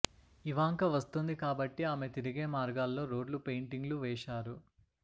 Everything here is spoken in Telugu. ఇవాంక వస్తోంది కాబట్టి ఆమె తిరిగే మార్గాల్లో రోడ్లు పెయింటింగ్ లు వేశారు